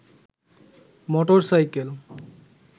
motorcycle